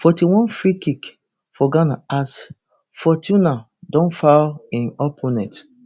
forty-onefreekick for ghana as fortuna don foul im opponent